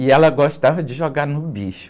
E ela gostava de jogar no bicho.